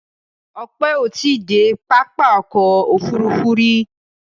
Ope o ti de papá ọ̀kọ̀ ofúrúfú ri